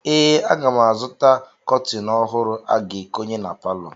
Ee, aga m azụta kọtịn ọhụrụ a ga-ekonye na palọ.